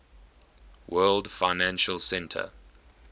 world financial center